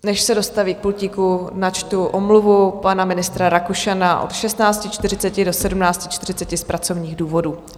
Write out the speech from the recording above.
Než se dostaví k pultíku, načtu omluvu pana ministra Rakušana od 16.45 do 17.40 z pracovních důvodů.